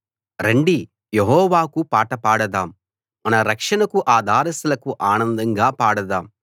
రండి యెహోవాకు పాట పాడదాం మన రక్షణకు ఆధారశిలకు ఆనందంగా పాడదాం